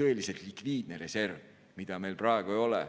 tõeliselt likviidne reserv, mida meil praegu ei ole.